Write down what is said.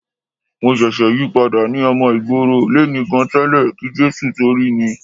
Èmi ṣẹ̀ṣẹ̀ yípadà ni. Ọmọ ìgboro lèmi gan tẹ́lẹ̀ kí Jésù tó rí mi.